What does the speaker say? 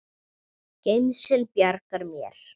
Gemsinn bjargar mér.